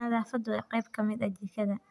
Nadaafadu waa qayb ka mid ah jikada.